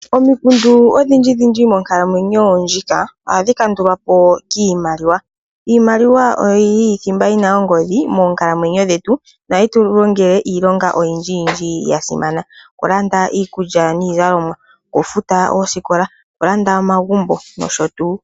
Omikundu odhindji dhindji monkalamwenyo ndjika ohadhi kandulwapo kiimaliwa, iimaliwa oyo yili thimba yina ongodhi moonkalamwenyo dhetu nohayi tulongele iilonga oyindji yindji yasimana, okulanda iikulya niizalomwa, okufuta oosikola , okulanda omagumbo nosho tu.